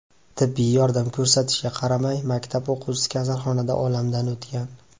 Tibbiy yordam ko‘rsatilishiga qaramay, maktab o‘quvchisi kasalxonada olamdan o‘tgan.